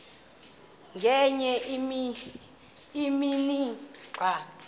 ngenye imini xa